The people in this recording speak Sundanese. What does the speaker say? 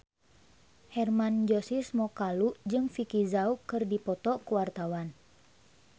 Hermann Josis Mokalu jeung Vicki Zao keur dipoto ku wartawan